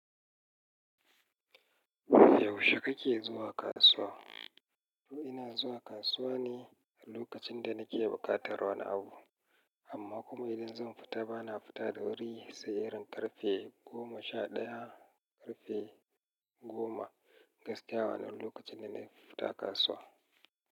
Yaushe kake zuwa kasuwa? Ina zuwa kasuwa ne a lokacin da nake buƙatar wani abu, amma kuma idan zan fita bana fita da wuri. Sai irin karfe goma sha ɗaya, karfe goma gaskiya wannan lokacin ne nafi fita kasuwa.